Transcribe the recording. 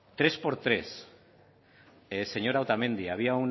tres por tres señora otamendi había